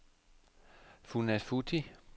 Funafuti